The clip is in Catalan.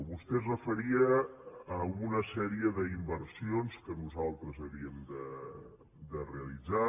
vostè es referia a una sèrie d’inversions que nosaltres havíem de realitzar